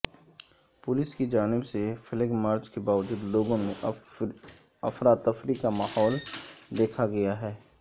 police کی جانب سے فلیگ مارچ کے باوجود لوگوں میں افرتفری کا ماحول دیکھا گیاہے